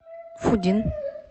фудин